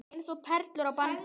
Eins og perlur á bandi.